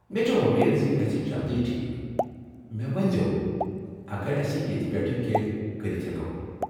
مے٘ چھے٘ وومید یہِ گژھِ جلدی ٹھیكھ ، مےٚ ؤنِزیو اگر اَسہِ ییتہِ پٮ۪ٹھہٕ کینہہ کٔرِتھ ہٮ۪کو ۔